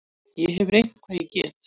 Ég hef reynt hvað ég get.